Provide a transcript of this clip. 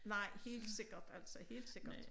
Nej helt sikkert altså helt sikkert